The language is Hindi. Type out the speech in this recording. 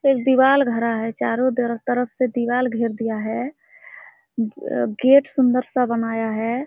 एक दीवाल घरा है चारो तरफ-तरफ से दीवाल घेर दिया है अअ गेट सुन्दर सा बनाया है|